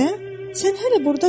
Nə, sən hələ burdasan?